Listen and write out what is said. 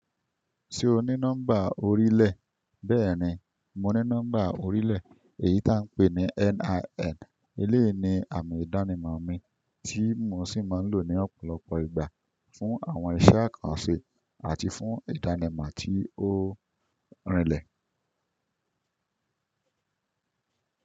Ṣé o ní nọ́mbà orílẹ̀? Bẹ́ẹ̀ni, mo ní nọ́mbà orílẹ̀ èyí tí à ń pè ní NIN. Eleyi ni àmì ìdánimọ̀ mi tí mo sì máa ń lò ní ọ̀pọ̀lọpọ̀ ìgbà fún àwọn iṣẹ́ àkànṣe àti fún ìdánimọ̀ tí ó rìnlẹ̀.